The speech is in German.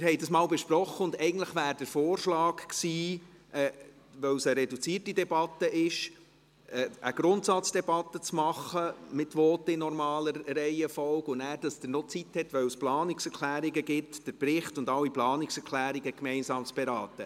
Wir haben das mal besprochen, und da es eine reduzierte Debatte ist, wäre der Vorschlag eigentlich gewesen, eine Grundsatzdebatte mit Voten in normaler Reihenfolge durchzuführen, und danach – damit Sie noch Zeit haben, weil es Planungserklärungen gibt – den Bericht und alle Planungserklärungen gemeinsam zu beraten.